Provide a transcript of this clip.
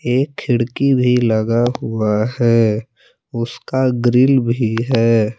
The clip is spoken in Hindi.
एक खिड़की भी लगा हुआ है। उसका ग्रिल भी है।